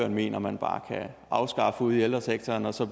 mener man bare kan afskaffe ude i ældresektoren så